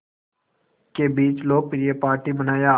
के बीच लोकप्रिय पार्टी बनाया